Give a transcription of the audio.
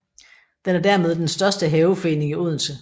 Den er dermed den største haveforening i Odense